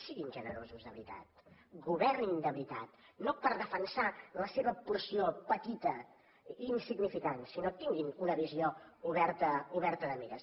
siguin generosos de veritat governin de veritat no per defensar la seva porció petita i insignificant sinó tinguin una visió oberta de mires